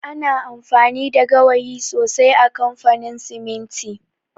Ana amfani da gawayi sosai a kamfanin siminti